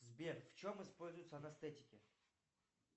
сбер в чем используются анестетики